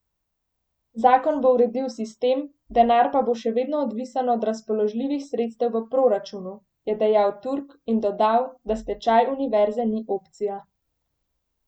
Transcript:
Zakon bo uredil sistem, denar pa bo še vedno odvisen od razpoložljivih sredstev v proračunu, je dejal Turk in dodal, da stečaj univerze ni opcija.